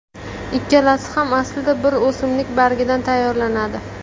Ikkalasi ham aslida bir o‘simlik bargidan tayyorlanadi.